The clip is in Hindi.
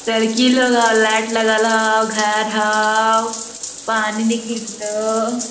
लड़की लोग हो लाइट लगल हो घर हो पानी निकली रह ले हो।